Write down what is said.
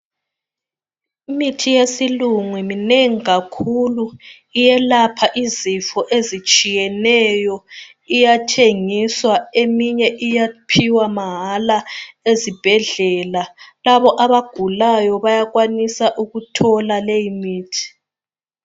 Imithi yesilungu minengi kakhulu iyelapha izifo ezitshiyeneyo. Iyathengiswa eminye iyaphiwa mahala ezibhedlela. Labo abagulayo bayakwanisa ukuthola leyi mithi.